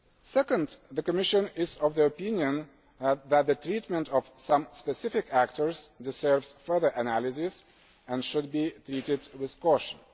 Second, the Commission is of the opinion that the treatment of some specific actors deserves further analysis and should be treated with caution.